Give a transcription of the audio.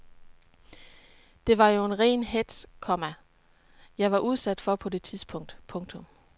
Det var jo ren hetz, komma jeg var udsat for på det tidspunkt. punktum